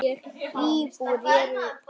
Íbúar eru rúm tvö þúsund.